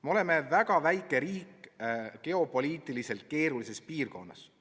Me oleme väga väike riik geopoliitiliselt keerulises piirkonnas.